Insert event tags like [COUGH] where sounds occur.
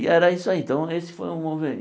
E era isso aí, então esse foi o. [UNINTELLIGIBLE]